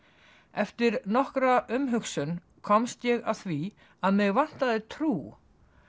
eftir nokkra umhugsun komst ég að því að mig vantaði trú